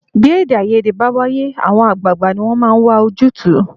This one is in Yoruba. Bí èdèàìyedè bá wáyé, àwọn àgbààgbà ni wọ́n máa ń wà ojútùú